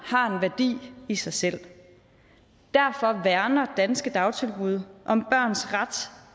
har en værdi i sig selv derfor værner danske dagtilbud om børns ret